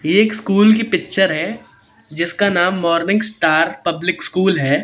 एक स्कूल की पिक्चर है जिसका नाम मॉर्निंग स्टार पब्लिक स्कूल है।